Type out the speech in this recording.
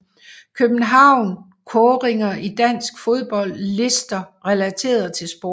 København Kåringer i dansk fodbold Lister relateret til sport